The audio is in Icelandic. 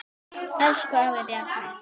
Elsku afi Bjarni.